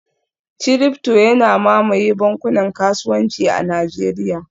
ciryfto yana mamaye bankunan kasuwanci a Najeriya